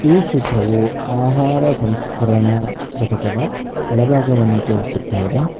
ಈ ಚಿತ್ರವು ಆಹಾರ ಸಂಸ್ಕರಣಾ ಘಟಕದ ಒಳ ಭಾಗವನ್ನು ತೋರಿಸುತ್ತಾ ಇದೆ.